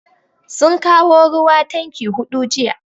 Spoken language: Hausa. Sun kawo ruwa tanki hudu jiya.